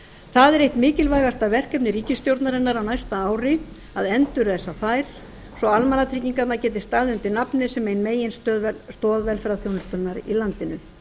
það er eitt mikilvægasta verkefni ríkisstjórnarinnar á næsta ári að endurreisa þær svo að almannatryggingarnar geti staðið undir nafni sem ein meginstoð velferðarþjónustunnar í landinu